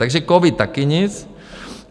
Takže covid také nic.